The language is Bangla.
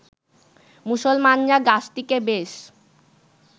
মুসলমানরা গাছটিকে বেশ